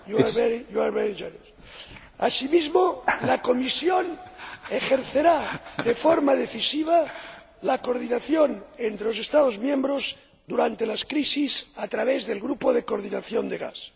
miembros. Asimismo, la Comisión ejercerá de forma decisiva la coordinación entre los Estados miembros durante las crisis a través del Grupo de Coordinación del Gas.